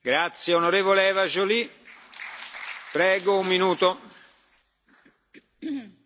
Monsieur le Président, chers collègues, la corruption tue littéralement.